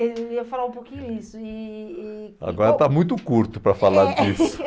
É, eu ia falar um pouquinho isso e e... Agora está muito curto para falar disso. É, é